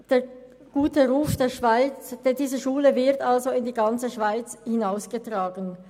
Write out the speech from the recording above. Der gute Ruf dieser Schule wird in die ganze Schweiz hinausgetragen.